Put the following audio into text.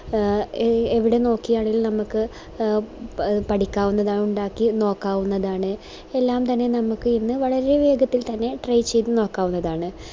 ആഹ് എവിടെ നോക്കിയാണെലും നമുക്ക് ആഹ് പ പഠിക്കാവുന്നതാണ് ഇണ്ടാക്കി നോക്കാവുന്നതാണ് എല്ലാം തന്നെ നമുക്കൊന്ന് വളരെ വേഗത്തിൽ തന്നെ try നോക്കാവുന്നതാണ്